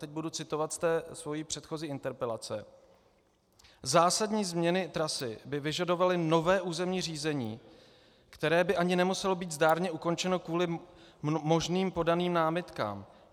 Teď budu citovat z té své předchozí interpelace: Zásadní změny trasy by vyžadovaly nové územní řízení, které by ani nemuselo být zdárně ukončeno kvůli možným podaným námitkám.